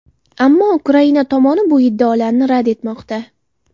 Ammo Ukraina tomoni bu iddaolarni rad etmoqda.